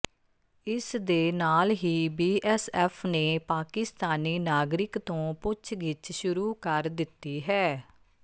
ਇਸ ਦੇ ਨਾਲ ਹੀ ਬੀਐਸਐਫ ਨੇ ਪਾਕਿਸਤਾਨੀ ਨਾਗਰਿਕ ਤੋਂ ਪੁੱਛਗਿੱਛ ਸ਼ੁਰੂ ਕਰ ਦਿੱਤੀ ਹੈ